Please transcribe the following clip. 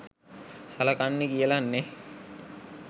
සලකන්නේ කියලා නෙහ්?